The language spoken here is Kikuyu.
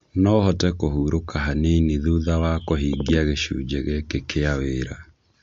No hote kũhurũka kũhurũka hanini thutha wa kũhingia gĩcunjĩ gĩkĩ kĩa wĩra